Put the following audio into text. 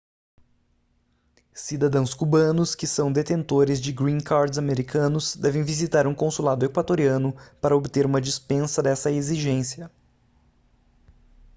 cidadãos cubanos que são detentores de green cards americanos devem visitar um consulado equatoriano para obter uma dispensa dessa exigência